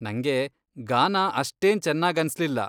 ನಂಗೆ ಗಾನಾ ಅಷ್ಟೇನ್ ಚೆನ್ನಾಗನ್ಸ್ಲಿಲ್ಲ.